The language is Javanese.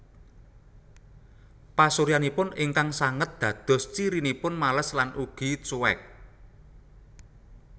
Pasuryanipun ingkang sanget dados cirinipun males lan ugi cuek